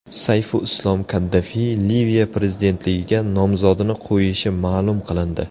Sayfulislom Kaddafi Liviya prezidentligiga nomzodini qo‘yishi ma’lum qilindi.